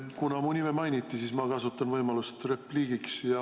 Kuna mu nime mainiti, siis ma kasutan võimalust repliigiks.